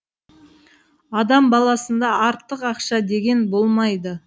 адам баласында артық ақша деген болмайды